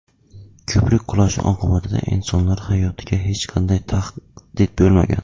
Ko‘prik qulashi oqibatida insonlar hayotiga hech qanday tahdid bo‘lmagan.